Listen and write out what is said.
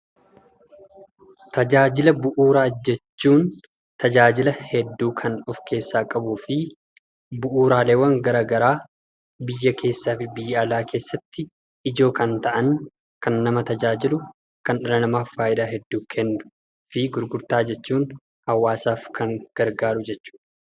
Tajaajila bu'uura jechuun tajaajilaa hedduu kan of keessa qabufi bu'uuraalee gara garaa biyyaa keessaafu biyya alaatti ijoo kan ta'aan kan nama tajaajilu, kan dhala namaaf faayidaa kennu. Gurgurtaa jechuun hawaasaaf kan gargaruu jechuudha.